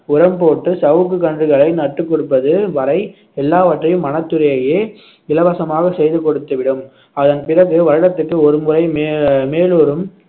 உரம் போட்டு சவுக்கு கன்றுகளை நட்டு கொடுப்பது வரை எல்லாவற்றையும் வனத்துறையையே இலவசமாக செய்து கொடுத்துவிடும் அதன் பிறகு வருடத்திற்கு ஒருமுறை மே~ மேலூரும்